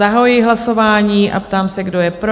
Zahajuji hlasování a ptám se, kdo je pro?